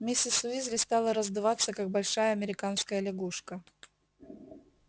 миссис уизли стала раздуваться как большая американская лягушка